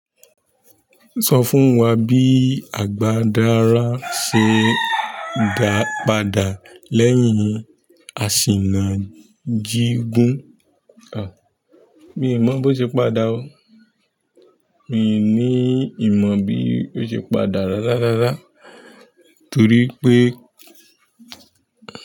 Sọ fún wá bí agba dára sí ndapada lẹ́yìn asi na jigun. À, mi mo bó ṣe padà o. Mi ní ìmọ̀ bí ó ṣe padà rárá rárá torí pé.